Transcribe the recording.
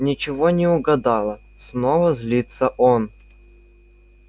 ничего не угадала снова злится он